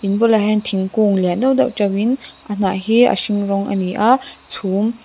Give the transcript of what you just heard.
bulah hian thingkung lian deuh deuh to in a hnah hi a hring rawng a ni a chhum--